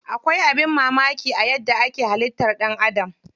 Akwai abin mamaki a yadda ake halittar ɗan Adam.